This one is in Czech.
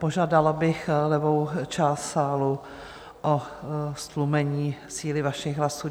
Požádala bych levou část sálu o ztlumení síly vašich hlasů.